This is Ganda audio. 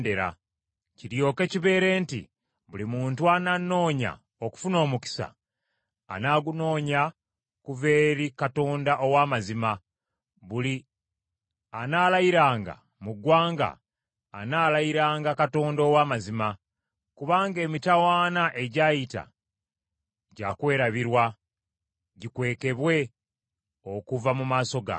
Kiryoke kibeere nti buli muntu ananoonya okufuna omukisa anaagunoonya kuva eri Katonda Ow’amazima buli anaalayiranga mu ggwanga anaalayiranga Katonda ow’amazima. Kubanga emitawaana egyayita gya kwerabirwa gikwekebwe okuva mu maaso gange.